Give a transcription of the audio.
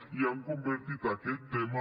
i han convertit aquest tema